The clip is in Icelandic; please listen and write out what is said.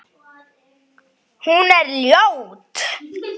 Hún er ljót.